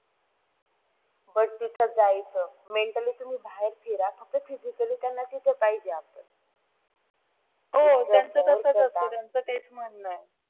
हो तो तसच असते, त्याचं तेच म्हणणं आहे